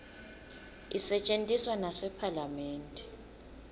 isetjentiswa nasephalamende